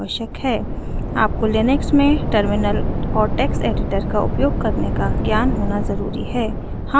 आपको लिनक्स में टर्मिनल और टेक्स्ट एडिटर का उपयोग करने का ज्ञान होना ज़रूरी है